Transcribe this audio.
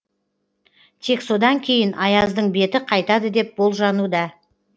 тек содан кейін аяздың беті қайтады деп болжануда